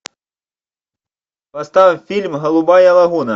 поставь фильм голубая лагуна